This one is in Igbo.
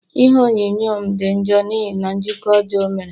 Ihe onyonyo m di njọ n'ihi na njikọ ọjọọ o mere